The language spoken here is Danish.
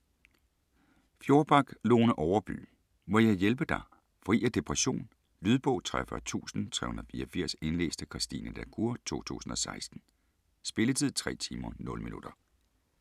Fjordback, Lone Overby: Må jeg hjælpe dig?: fri af depression Lydbog 43384 Indlæst af Christine la Cour, 2016. Spilletid: 3 timer, 0 minutter.